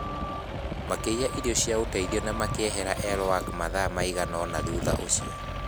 Makĩiya irio cia ũteithio na makĩehera El Wak mathaa maigana ũna thutha ũcio.